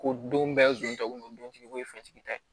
Ko don bɛɛ don tɔ kun ye dontigi o ye fɛntigi ta ye